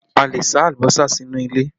A lè sá alùbọ́sà sínú ilé